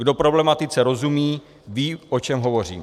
Kdo problematice rozumí, ví, o čem hovořím.